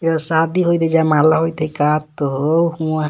एगो शादी होई जयमाला होइ त हइ का त ह हूंआ --